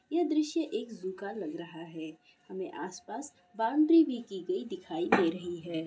ये दृस्य एक जू का लग रहा है हमें आसपास बाउंड्री भी की गई दिखाई दे रही है ।